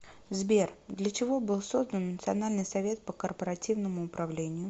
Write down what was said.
сбер для чего был создан национальный совет по корпоративному управлению